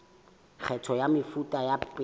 kgetho ya mefuta ya peo